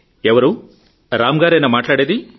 ఎవరు రామ్ గారేనా మాట్లాడేది